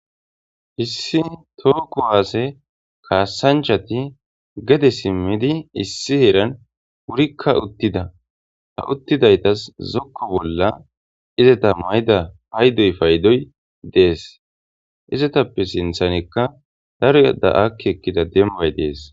Issi toho kuwasse kassanchathi gede simidi issi heren wurikka uttida. Ha uttidayththas zokko bolla xedda mayida payddoy payddoy dees. Izzathape sinthanikka daro akki ekkida dembay dess.